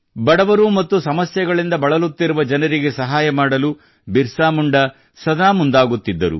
ಬಡವರು ಮತ್ತು ಸಮಸ್ಯೆಗಳಿಂದ ಬಳಲುತ್ತಿರುವ ಜನರಿಗೆ ಸಹಾಯ ಮಾಡಲು ಬಿರಸಾ ಮುಂಡಾ ಸದಾ ಮುಂದಾಗುತ್ತಿದ್ದರು